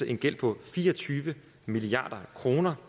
en gæld på fire og tyve milliard kroner